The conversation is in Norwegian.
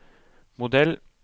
modell